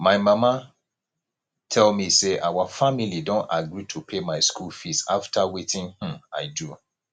my mama tell me say our family don agree to pay my school fees after wetin um i do